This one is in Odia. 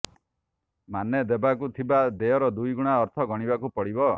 ମାନେ ଦେବାକୁ ଥିବା ଦେୟର ଦୁଇଗୁଣା ଅର୍ଥ ଗଣିବାକୁ ପଡ଼ିବ